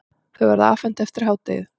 Þau verða afhent eftir hádegið.